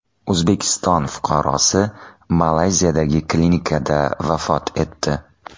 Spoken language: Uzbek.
O‘zbekiston fuqarosi Malayziyadagi klinikada vafot etdi.